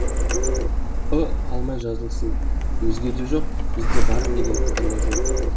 ы қалмай жазылсын өзгеде жоқ бізде бар деген пікірлер жүр